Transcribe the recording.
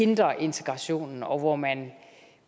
hindrer integrationen og hvor man